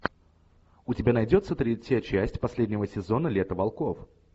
у тебя найдется третья часть последнего сезона лето волков